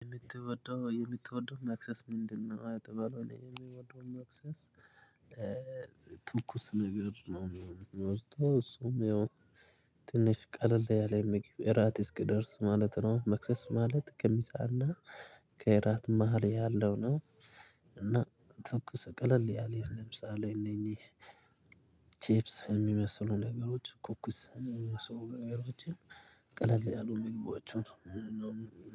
የምትወደው የምትወደው መክሰስ ምንድነው? አጥበሎ የሚወደው ማክሰስ ትኩስ ነገር ነው። ውስጥ እሱም ያው ትንሽ ቀለል ያለ የሚገኘው እራት እስክደርስ ማለት ነው። መክሰስ ማለት ከምሳ እና ከራት መሃል ያለው ነው። እና ትኩስ ቀለል ያለ ለምሳሌ እነኚህ ቺፕስ የሚመስሉ ነገሮች ኮኩስ ሰው ገበያዎችን ቀለል ያሉ ምግቦችን ነው